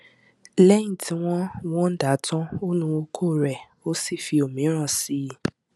lẹyìn tí wọn wọn dà tán ó nu okó rẹ ó sì fi òmíràn sí i